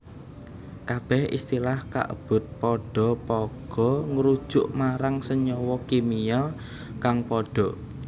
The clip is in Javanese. Kabeh istilah kaebut padha pagha ngrujuk marang senyawa kimia kang padha